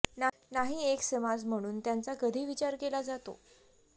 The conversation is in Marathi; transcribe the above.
नाही एक समाज म्हणून त्यांचा कधी विचार केला जातो